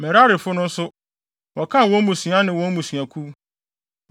Merarifo no nso, wɔkan wɔn mmusua ne wɔn mmusuakuw.